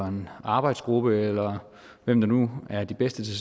en arbejdsgruppe eller hvem der nu er de bedste til